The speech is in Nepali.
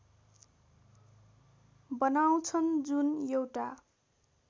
बनाउँछन् जुन एउटा